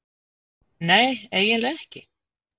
Nei, eiginlega ekki.